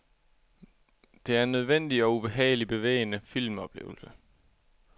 Det er en nødvendig og ubehageligt bevægende filmoplevelse.